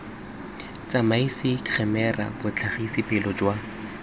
tsamaisa khemera botlhagisi pele jwa